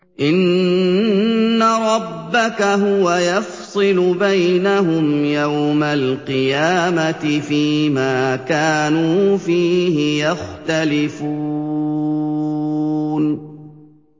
إِنَّ رَبَّكَ هُوَ يَفْصِلُ بَيْنَهُمْ يَوْمَ الْقِيَامَةِ فِيمَا كَانُوا فِيهِ يَخْتَلِفُونَ